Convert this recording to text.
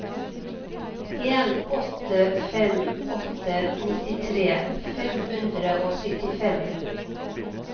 en åtte fem åtte nittitre fem hundre og syttifem